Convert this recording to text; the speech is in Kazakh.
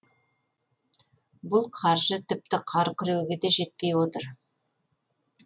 бұл қаржы тіпті қар күреуге де жетпей отыр